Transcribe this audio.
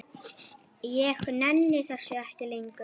Ég nenni þessu ekki lengur.